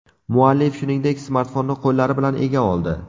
Muallif, shuningdek, smartfonni qo‘llari bilan ega oldi.